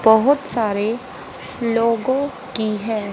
बहुत सारे लोगों की है।